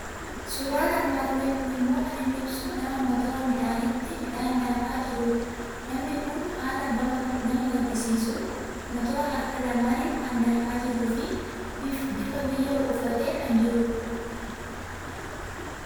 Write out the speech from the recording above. Suuraan armaan olii kun immoo kan inni ibsu nama motora midhaaniitti midhaan daakaa jirudha. Namni kun haala bama gaddisiisuun motora harka lamaaniin kan daakaa jiruu fi bifa biyyoo uffatee kan jirudha.